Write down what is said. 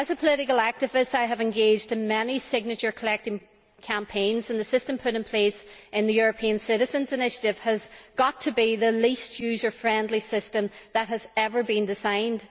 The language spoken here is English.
As a political activist, I have been engaged in many signature collecting campaigns and the system put in place in the European Citizens' Initiative has got to be the least user friendly system that has ever been designed.